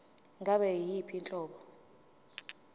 ngabe yiyiphi inhlobo